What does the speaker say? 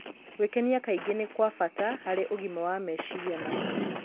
Gwĩkenia kaingĩ nĩ kwa bata harĩ ũgima wa meciria na mwĩrĩ.